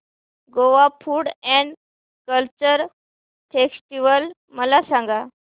Goa food and culture festival मला सांगा